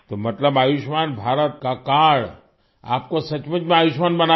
तो मतलब आयुष्मान भारत का कार्ड आपको सचमुच में आयुष्मान बना दिया